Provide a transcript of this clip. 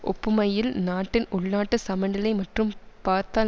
ஒப்புமையில் நாட்டின் உள்நாட்டு சமநிலை மற்றும் பார்த்தால்